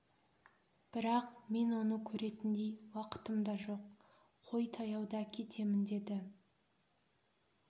бірақ мен оны көретіндей уақытым да жоқ қой таяуда кетемін деді